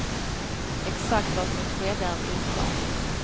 Exakt vad som skedde är oklart.